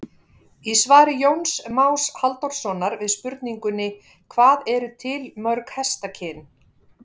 Í svari Jóns Más Halldórssonar við spurningunni Hvað eru til mörg hestakyn?